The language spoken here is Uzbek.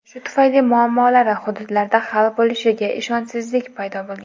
Shu tufayli muammolari hududlarda hal bo‘lishiga ishonchsizlik paydo bo‘lgan.